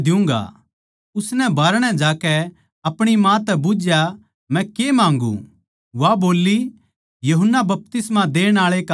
उसनै बाहरणै जाकै आपणी माँ तै बुझया मै के माँग्गू वा बोल्ली यूहन्ना बपतिस्मा देण आळै का सिर